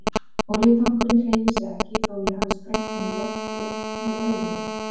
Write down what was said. Olíutankurinn hreyfir sig ekki þó ég hafi sprengt hann í loft upp með augunum.